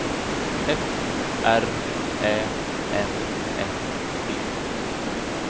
F R Ä M S T